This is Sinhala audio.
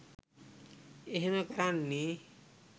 එහෙම කරන්නේ.